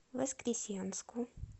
воскресенску